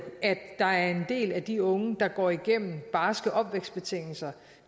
at der er en del af de unge der går igennem barske opvækstbetingelser